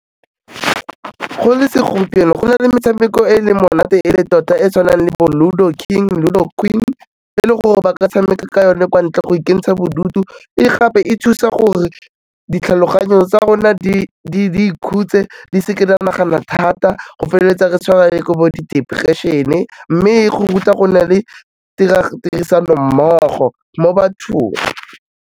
Go le segompieno, go na le metshameko e leng monate e le tota, e tshwanang le bo Ludo King, Ludo Queen e le gore ba ka tshameka ka yone kwa ntle go ikentsha bodutu, e gape e thusa gore ditlhaloganyo tsa rona di ikhutse di seke dia nagana thata go feleletsa re tshwere le ke bo depression-e mme e go ruta go na le tirisanommogo mo bathong.